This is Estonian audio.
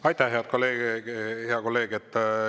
Aitäh, hea kolleeg!